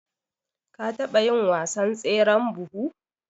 ka taba yin wasan tseren buhu?